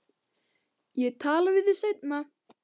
Ég tala við þig seinna.